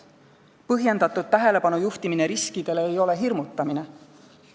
Riskidele põhjendatud tähelepanu juhtimine ei ole hirmutamine.